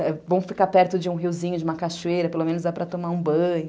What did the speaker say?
É bom ficar perto de um riozinho, de uma cachoeira, pelo menos dá para tomar um banho.